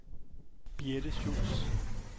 Birthe Schulz